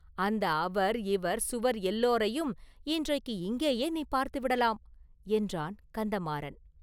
"அந்த அவர், இவர், சுவர் – எல்லோரையும் இன்றைக்கு இங்கேயே நீ பார்த்துவிடலாம்!” என்றான் கந்தமாறன்.